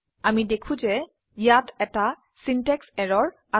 আমি দেখো যে ইয়াত এটা সিনট্যাক্স এৰৰ আছে